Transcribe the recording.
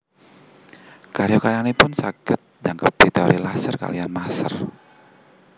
Karya karyanipun saged njangkepi teori laser kaliyan maser